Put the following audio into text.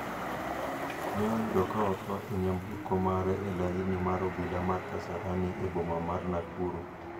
ne oyudo ka otho e nyamburko mare e laini mar obila mar Kasarani e boma mar Nakuru.